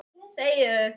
Verður hann áfram?